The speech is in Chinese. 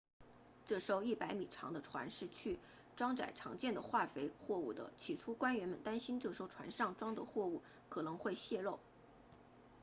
这艘100米长的船是去装载常见的化肥货物的起初官员们担心这艘船上装的货物可能会泄漏